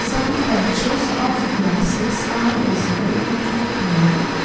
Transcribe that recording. some pacthes of grasses are visible on the ground.